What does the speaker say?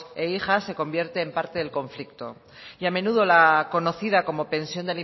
e hijas se convierten en parte del conflicto y a menudo la conocida como pensión